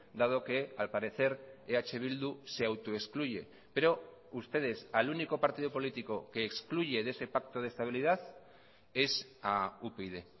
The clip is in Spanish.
dado que al parecer eh bildu se autoexcluye pero ustedes al único partido político que excluye de ese pacto de estabilidad es a upyd